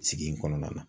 Sigi in kɔnɔna na